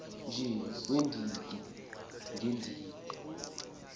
nje weendidi ngeendidi